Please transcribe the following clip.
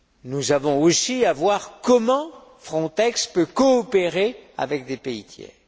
Nous devons aussi examiner comment Frontex peut coopérer avec des pays tiers.